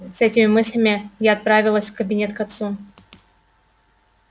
с этими мыслями я отправилась в кабинет к отцу